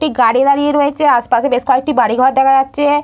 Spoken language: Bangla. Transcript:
একটি গাড়ী দাঁড়িয়ে রয়েছে। আশেপাশে বেশ কয়েকটি বাড়ি ঘর দেখা যাচ্ছে।